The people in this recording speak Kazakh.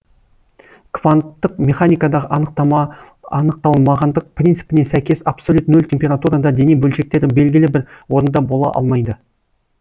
кванттық механикадағы анықталмағандық принципіне сәйкес абсолют нөл температурада дене бөлшектері белгілі бір орында бола алмайды